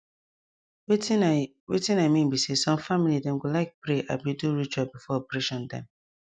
wetin i wetin i mean be say some family dem go like pray abi do ritual before operation dem